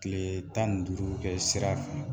Tilee tan ni duuru kɛ sira fɛ.